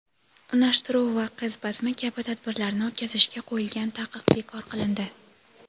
unashtiruv va qiz bazmi kabi tadbirlarni o‘tkazishga qo‘yilgan taqiq bekor qilindi.